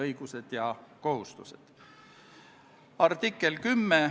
Lugupeetud istungi juhataja!